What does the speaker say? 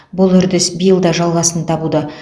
бұл үрдіс биыл да жалғасын табуда